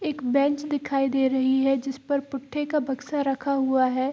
एक बेंच दिखाई दे रही है जिसपर पुट्ठे का बक्सा रखा हुआ है।